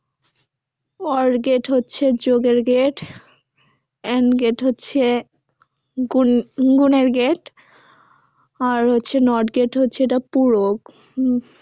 or gate হচ্ছে যোগের gate and gate হচ্ছে গুন গুনের gate আর হচ্ছে not gate হচ্ছে এটা পূরক।